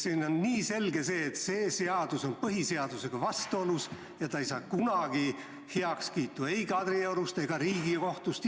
Praegu on ju selge, et see seadus on põhiseadusega vastuolus ja see ei saa kunagi heakskiitu ei Kadriorust ega Riigikohtust.